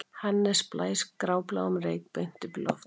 Hannes blæs grábláum reyk beint upp í loftið